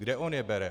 Kde on je bere?